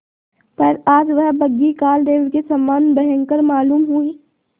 पर आज वह बग्घी कालदेव के समान भयंकर मालूम हुई